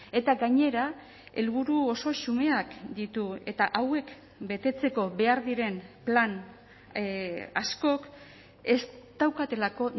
eta gainera helburu oso xumeak ditu eta hauek betetzeko behar diren plan askok ez daukatelako